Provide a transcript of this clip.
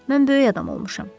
Mən böyük adam olmuşam.